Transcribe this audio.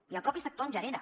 i el mateix sector en genera